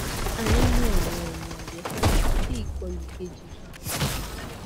a nilo awọn oogun ajesara ti ikolu keji ba wa